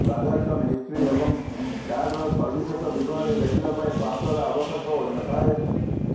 transaction history ଏବଂ କାର୍ଡର ସବିଶେଷ ବିବରଣୀ ଦେଖିବା ପାଇଁ ପାସୱାର୍ଡ ଆବଶ୍ୟକ ହୋଇନଥାଏ